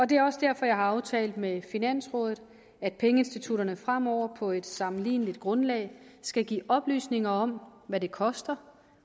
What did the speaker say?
det er også derfor jeg har aftalt med finansrådet at pengeinstitutterne fremover på et sammenligneligt grundlag skal give oplysninger om hvad det koster